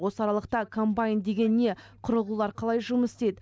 осы аралықта комбайн деген не құрылғылар қалай жұмыс істейді